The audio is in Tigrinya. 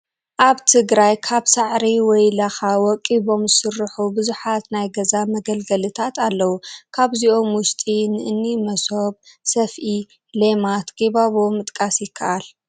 ኣብ ትግራይ ካብ ሳዕሪ ወይ ላኻ ወቂቦም ዝስርሑ ብዙሓት ናይ ገዛ መገልገልታት ኣለዉ፡፡ ካብዚኦም ውሽጢ ንእኒ መሶብ፣ ሰፍኢ፣ ሌማት፣ ጊባቦ ምጥቃስ ይከኣል፡፡